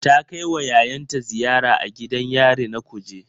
Ta kai wa yayanta ziyara a gidan yari na Kuje